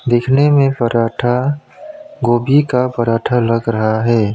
दिखने में पराठा गोभी का पराठा लग रहा है।